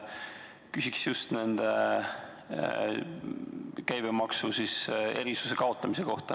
Küsin just käibemaksuerisuse kaotamise kohta.